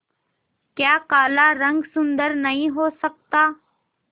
क्या काला रंग सुंदर नहीं हो सकता